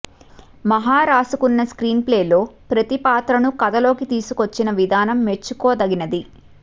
మహా రాసుకున్న స్క్రీన్ ప్లేలో ప్రతి పాత్రను కథలోకి తీసుకొచ్చిన విధానం మెచ్చుకోదగినది